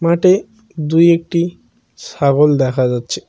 মাটে দু একটি সাগল দেখা যাচ্ছে।